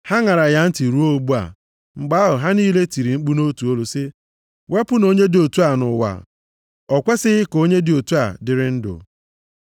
Ha ṅara ya ntị ruo ugbu a. Mgbe ahụ, ha niile tiri mkpu nʼotu olu sị, “Wepụnụ onye dị otu a nʼụwa! O kwesighị ka onye dị otu a dịrị ndụ!”